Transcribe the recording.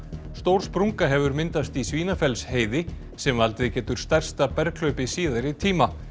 stór sprunga hefur myndast í sem valdið getur stærsta berghlaupi síðari tíma